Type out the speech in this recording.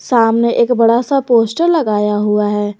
सामने एक बड़ा सा पोस्टर लगाया हुआ है।